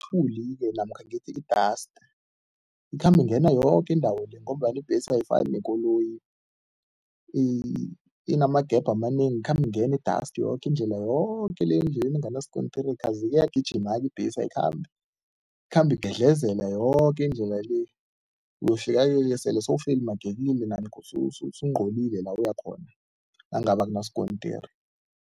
Ithuli-ke namkha ngithi i-dust ikhamba ingena yoke indawo le ngombana ibhesi ayifani nekoloyi inama-gap amanengi, ikhamba ingena ne-dust yoke indlela yoke le endleleni enganasikontiri kazi iyagijima-ke ibhesi, ayikhambi ikhamba igedlezela yoke indlela le uyofika-ke ke sele sewufelimagekile usungcolile la uyakhona, nangabe akunaskontiri.